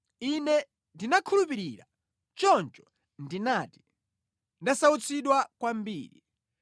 Ine ndinakhulupirira; choncho ndinati, “Ndasautsidwa kwambiri.”